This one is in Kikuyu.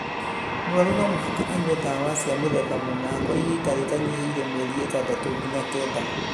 Mũrũaru no mũhaka anyue ndawa cia mũthemba mũna kwa ihinda rĩtanyihĩire mĩeri ĩtandatũ nginya kenda,